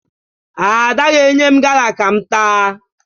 Ada ga-enye m gala ka m taa